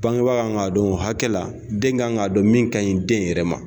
Bangebaa kan k'a dɔn o hakɛ la, den ka kan k'a dɔn min ka ɲi den yɛrɛ ma.